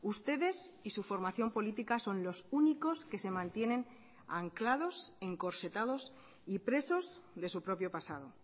ustedes y su formación política son los únicos que se mantienen anclados encorsetados y presos de su propio pasado